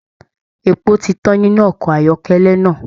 Epo ti tàn nínú ọkọ ayọkẹlẹ náà.